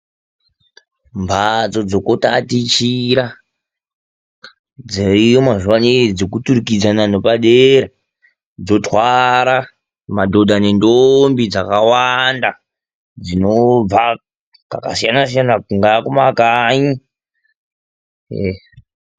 Mbatso dzekutatichira dziriyo mazuwa anaa dzekuturikidzana nopadera. Dzotwara madhodha nendombi dzakawanda dzinobva kwakasiya-siyana kungaa kumakanyi.